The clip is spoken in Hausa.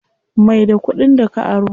Mai da kuɗin da ka aro.